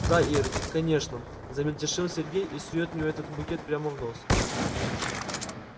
да ир конечно замельтешил сергей и сует мне этот букет прямо в нос